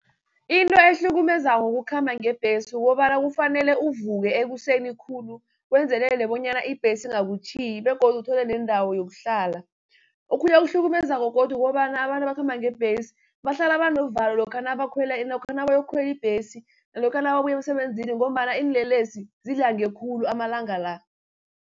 Into ehlukumezako ukukhamba ngebhesi, kukobana kufanele uvuke ekuseni khulu wenzelele bonyana ibhesi ingakutjhiyi, begodu uthole nendawo yokuhlala. Okhunye okuhlukumezako godu kukobana abantu abakhamba ngebhesi, bahlala banovalo lokha nabayokukhwela ibhesi, nalokha nababuya emsebenzini ngombana iinlelesi zidlange khulu amalanga la.